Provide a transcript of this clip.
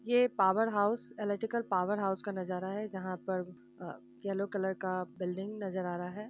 ये power house electrical power house का नजारा है जहां पर अ येलो कलर का बिल्डिंग नजर आ रहा है।